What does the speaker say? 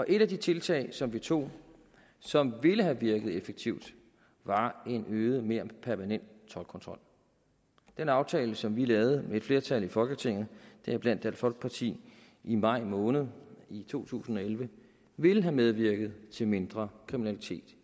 et af de tiltag som vi tog som ville have virket effektivt var en øget mere permanent toldkontrol den aftale som vi lavede med et flertal i folketinget deriblandt dansk folkeparti i maj måned i to tusind og elleve ville have medvirket til mindre kriminalitet